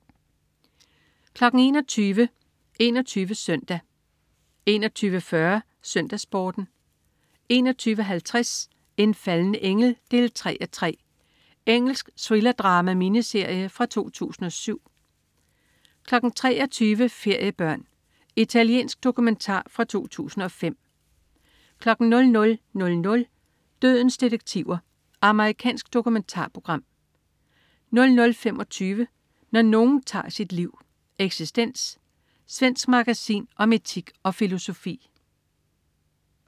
21.00 21 Søndag 21.40 SøndagsSporten 21.50 En falden engel 3:3. Engelsk thrillerdrama-miniserie fra 2007 23.00 Feriebørn. Italiensk dokumentar fra 2005 00.00 Dødens detektiver. Amerikansk dokumentarprogram 00.25 Når nogen tager sit liv. Eksistens. Svensk magasin om etik og filosofi